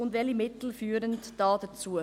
Und welche Mittel führen dazu?